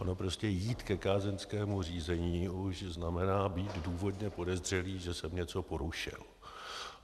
Ono prostě jít ke kázeňskému řízení už znamená být důvodně podezřelý, že jsem něco porušil.